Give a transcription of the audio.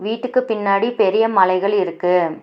வீட்டுக்கு பின்னாடி பெரிய மலைகள் இருக்கு.